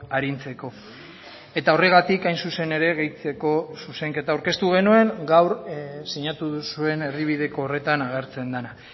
arintzeko eta horregatik hain zuzen ere gehitzeko zuzenketa aurkeztu genuen gaur sinatu duzuen erdibideko horretan agertzen dena